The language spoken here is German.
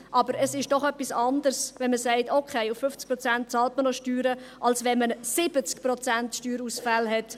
Aber es ist doch etwas anderes, als wenn man sagt: «Okay, auf 50 Prozent bezahlt man noch Steuern», als wenn man 70 Prozent Steuerausfälle hat.